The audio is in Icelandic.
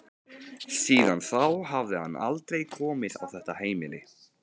Síðan þá hafði hann aldrei komið á þetta heimili.